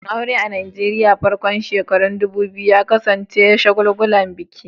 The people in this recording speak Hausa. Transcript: Bikin aure a Najeriya a farkon shekarun 2000 ya kasance da shagulgulan biki.